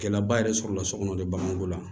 Kɛlɛba yɛrɛ sɔrɔla sokɔnɔ de b'an ko la